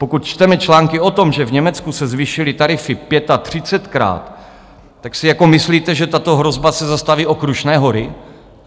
Pokud čteme články o tom, že v Německu se zvýšily tarify pětatřicetkrát, tak si jako myslíte, že tato hrozba se zastaví o Krušné hory?